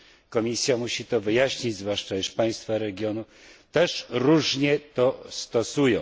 Komisja musi to wyjaśnić, zwłaszcza, iż państwa regionu też różnie się do tego stosują.